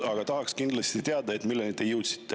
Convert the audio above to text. Aga tahaks kindlasti teada, milleni te jõudsite.